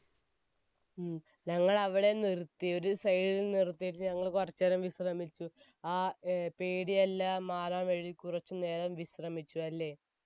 ഉം. ഞങ്ങൾ അവിടെ നിർത്തി, ഒരു side ൽ നിർത്തിയിട്ട് ഞങ്ങൾ കുറച്ചു നേരം വിശ്രമിച്ചു, ആ പേടിയെല്ലാം മാറാൻ വേണ്ടി കുറച്ചു നേരം വിശ്രമിച്ചു. അല്ലെ?